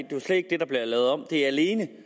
er alene